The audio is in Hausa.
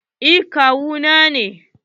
Eh kawu na ne.